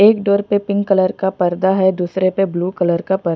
एक डोर पे pink colour का पर्दा है दूसरे पर ब्लू कलर का प--